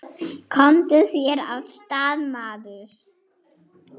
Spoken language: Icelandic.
Komdu þér af stað, maður!